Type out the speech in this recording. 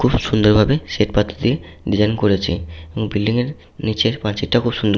খুব সুন্দর ভাবে শ্বেত পাথর দিয়ে ডিসাইন করেছে এবং বিল্ডিং এর নিচের পাঁচিল টা খুব সুন্দর।